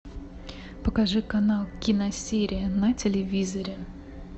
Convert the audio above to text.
покажи канал киносерия на телевизоре